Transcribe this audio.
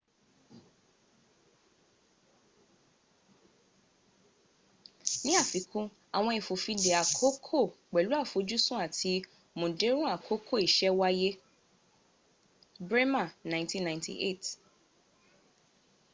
ní afikún àwọn ìfòfindè àkóókò pẹ̀lú àfojúsùn àti múndẹ̀rùn akókò isẹ́ wáyé. bremer 1998